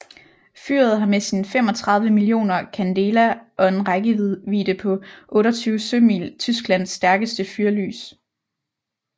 Fyret har med sine 35 mio candela og en rækkevidde på 28 sømil Tysklands stærkeste fyrlys